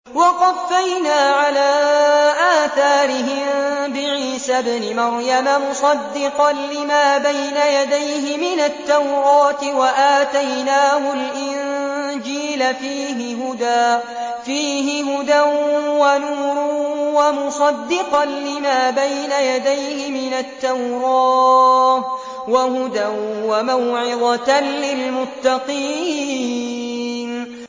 وَقَفَّيْنَا عَلَىٰ آثَارِهِم بِعِيسَى ابْنِ مَرْيَمَ مُصَدِّقًا لِّمَا بَيْنَ يَدَيْهِ مِنَ التَّوْرَاةِ ۖ وَآتَيْنَاهُ الْإِنجِيلَ فِيهِ هُدًى وَنُورٌ وَمُصَدِّقًا لِّمَا بَيْنَ يَدَيْهِ مِنَ التَّوْرَاةِ وَهُدًى وَمَوْعِظَةً لِّلْمُتَّقِينَ